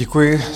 Děkuji.